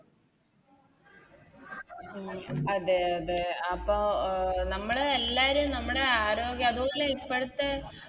ഉം അതെ അതെ അപ്പൊ അഹ് നമ്മള് എല്ലാരും നമ്മുടെ ആരോഗ്യം അതുപോലെ ഇപ്പഴത്തെ